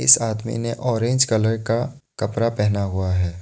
इस आदमी ने ऑरेंज कलर का कपड़ा पहना हुआ है।